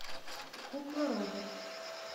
кукла роберт